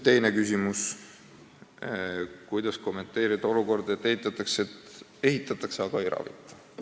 Oli ka küsimus, kuidas kommenteerida olukorda, et ehitatakse, aga ei ravita.